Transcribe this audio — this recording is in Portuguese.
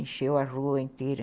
Encheu a rua inteira.